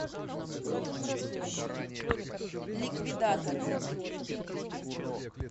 ликвидаторы